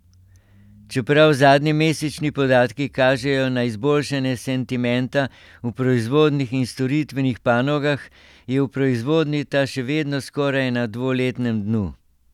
Čeprav zadnji mesečni podatki kažejo na izboljšanje sentimenta v proizvodnih in storitvenih panogah, je v proizvodnji ta še vedno skoraj na dvoletnem dnu.